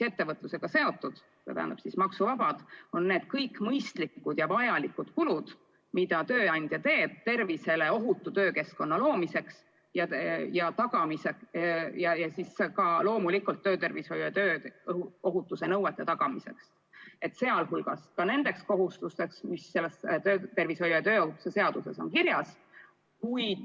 Ettevõtluse puhul on maksuvabad kõik mõistlikud ja vajalikud kulud, mida tööandja teeb tervisele ohutu töökeskkonna loomiseks ja loomulikult töötervishoiu ja tööohutuse nõuete tagamiseks, sealhulgas ka nende kohustuste täitmiseks, mis on töötervishoiu ja tööohutuse seaduses kirjas.